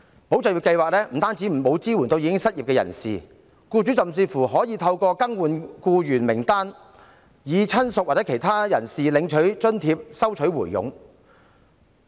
"保就業"計劃不單沒有支援失業人士，僱主甚至可以透過更換僱員名單，以親屬或其他人士領取津貼，收取回佣。